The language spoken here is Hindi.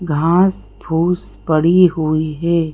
घास फूस पड़ी हुई है।